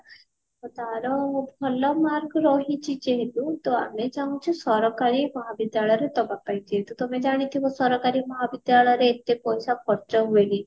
ତାର ଭଲ mark ରହିଛି ଯେହେତୁ ତ ଆମେ ଚାହୁଞ୍ଚୁ ସରକାରୀ ମହାବିଦ୍ୟାଳୟ ରେ ଦବା ପାଇଁ କିନ୍ତୁ ତମେ ଜାଣିଥିବ ସରକାରୀ ମହାବିଦ୍ୟାଳୟ ରେ ଏତେ ପଇସା ଖର୍ଚ୍ଚ ହୁଏନି